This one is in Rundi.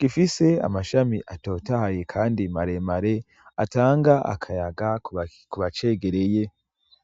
gifise amashami atotahaye kandi maremare atanga akayaga kubacegereye.